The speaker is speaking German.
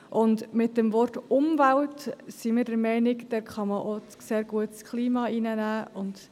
Wir sind der Meinung, dass man beim Stichwort «Umwelt» auch sehr gut das Klima einbeziehen kann.